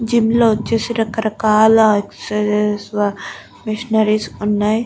Gym లో వచ్చేసి రక రకాల ఎక్సర్సైస్ మెషినారీస్ ఉన్నాయి.